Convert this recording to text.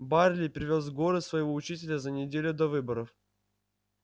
байерли привёз в город своего учителя за неделю до выборов